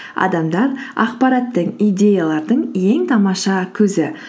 адамдар ақпараттың идеялардың ең тамаша көзі